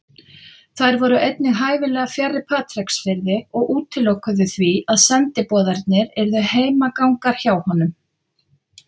Þær voru einnig hæfilega fjarri Patreksfirði og útilokuðu því að sendiboðarnir yrðu heimagangar hjá honum.